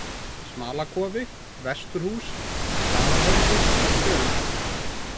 Smalakofi, Vesturhús, Staðarhöfði, Sjöundá